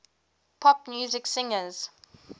pop music singers